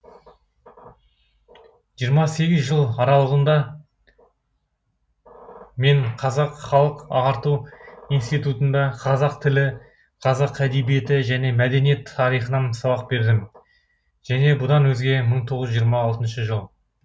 жиырма сегіз жыл аралығында мен қазақ халық ағарту институтында қазақ тілі қазақ әдебиеті және мәдениет тарихынан сабақ бердім және бұдан өзге мың тоғыз жүз жиырма алты жыл